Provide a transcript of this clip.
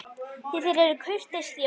Því þeir eru kurteis þjóð.